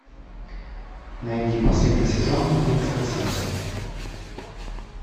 найди последний сезон битвы экстрасенсов